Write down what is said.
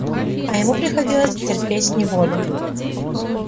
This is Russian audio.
а ему приходилось терпеть неволю